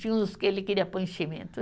Tinha uns que ele queria pôr enchimento.